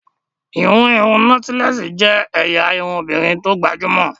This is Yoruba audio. ìhun irun nọ́tílẹ́ẹ́sì jẹ́ ẹ̀yà irun obìnrin tó gbajúmọ̀